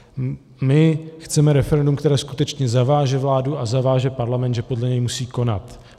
My chceme referendum, které skutečně zaváže vládu a zaváže Parlament, že podle něj musí konat.